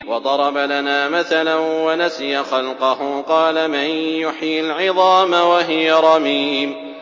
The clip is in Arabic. وَضَرَبَ لَنَا مَثَلًا وَنَسِيَ خَلْقَهُ ۖ قَالَ مَن يُحْيِي الْعِظَامَ وَهِيَ رَمِيمٌ